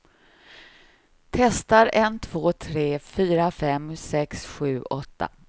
Testar en två tre fyra fem sex sju åtta.